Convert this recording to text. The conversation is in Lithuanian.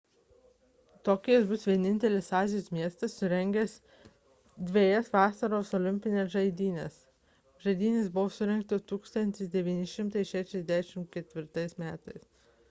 tokijas bus vienintelis azijos miestas surengęs dvejas vasaros olimpines žaidynes žaidynės buvo surengtos 1964 m